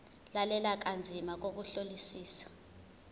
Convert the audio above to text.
lalela kanzima ngokuhlolisisa